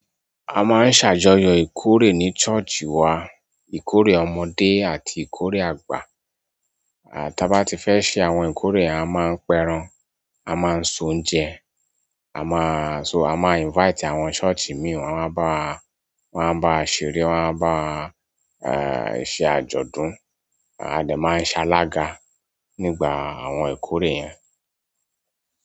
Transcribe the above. A máa ń ṣàjọyọ̀ ìkórè ní ṣọ́ọ̀ṣì wa. Ìkórè ọmọdé àti ìkórè àgbà. Ta bá tí fẹ́ ṣe àwọn ìkórè a máa ń pẹran, a máa ń soúnjẹ, a máa. A máa invite àwọn ṣọ́ọ̀ṣì mìíràn wọ́n máa bá wa, wọ́n máa bá wa ṣerẹ, wọ́n máa bá wa, ṣe àjọ̀dún. Adẹ̀ máa ń ṣalaga nígbà àwọn ìkórè yẹn.